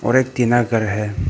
और एक टीना घर है।